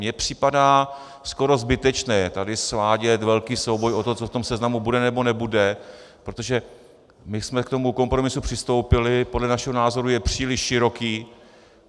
Mně připadá skoro zbytečné tady svádět velký souboj o to, co v tom seznamu bude nebo nebude, protože my jsme k tomu kompromisu přistoupili, podle našeho názoru je příliš široký.